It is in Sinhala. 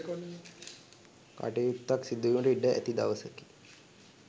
කටයුත්තක් සිදු වීමට ඉඩ ඇති දවසකි.